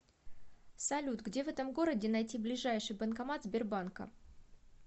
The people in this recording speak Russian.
салют где в этом городе найти ближайший банкомат сбербанка